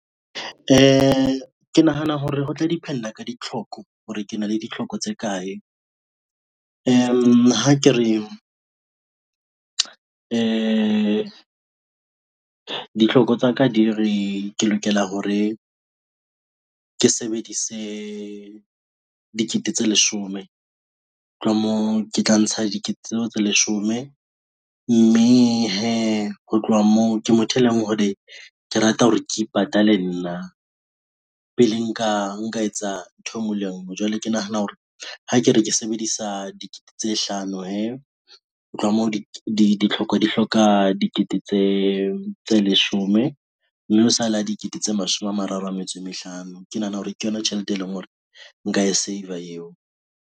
Ke nahana hore ho tla depend-a ka ditlhoko hore ke na le ditlhoko tse kae. Ha ke re ditlhoko tsa ka di re ke lokela hore ke sebedise dikete tse leshome tlo ha moo, ke tla ntsha dikete tseo tse leshome mme hee ho tloha moo, ke motho e leng hore ke rata hore ke ipatale nna, pele nka etsa ntho e ngwe le e ngwe jwale ke nahana hore ha ke re ke sebedisa dikete tse hlano hee. Ho tloha moo, ditlhoko di hloka dikete tse leshome mme o sale a dikete tse mashome a mararo a metso e mehlano ke nahana hore ke yona tjhelete, e leng hore nka e save-a eo.